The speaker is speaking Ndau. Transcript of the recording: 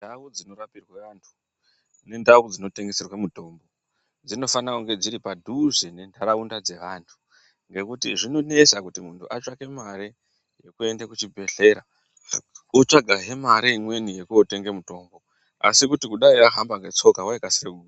Ndau dzinorapirwe antu, nendau dzinoteserwe mitombo, dzinofane kunge dziri padhuze nentaraunda dzevantu, ngekuti zvinonesa kuti munhu otsvake mare yekuende kuchibhedhleya otsvagahe mare imweni yekootenge mitombo ,asi kuti dai aihamba ngetsoka waikasire ku....